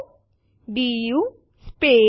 ચાલો જોઈએ તેઓ શું સમાવે છે